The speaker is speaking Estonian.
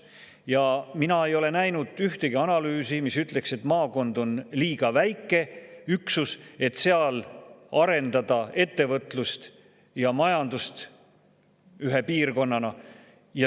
Ja mina ei ole näinud ühtegi analüüsi, mis ütleks, et maakond on liiga väike üksus, et seal arendada ettevõtlust ja majandust ühe piirkonnana.